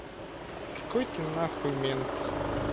какой ты нахуй мент